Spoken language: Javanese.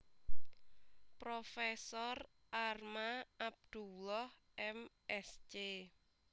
Prof Arma Abdullah M Sc